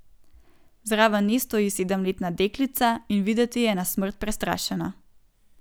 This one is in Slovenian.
Zraven nje stoji sedemletna deklica in videti je na smrt prestrašena.